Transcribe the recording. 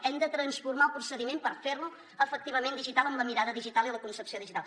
hem de transformar el procediment per fer lo efectivament digital amb la mirada digital i amb la concepció digital